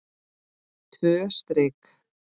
Tvö strik.